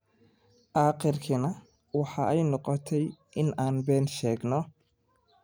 aakhirkiina waxa ay noqotay in aan been sheegno”.